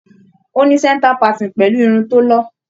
Ó ní centre parting pẹ̀lú irun tó lọ́.